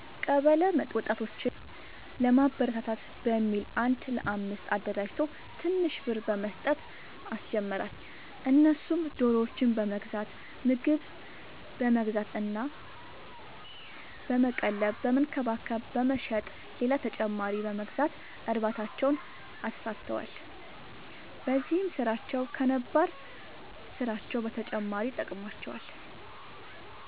ቀበለ ወጣቶችን ለማበረታታት በሚል አንድ ለአምስት አደራጅቶ ትንሽ ብር በመስጠት አስጀመራቸው እነሱም ዶሮዎችን በመግዛት ምግብ በመግዛት እና በመቀለብ በመንከባከብ በመሸጥ ሌላ ተጨማሪ በመግዛት እርባታቸውን አስፋፍተዋል። በዚህም ስራቸው ከነባር ስራቸው በተጨማሪ ጠቅሞዋቸዋል።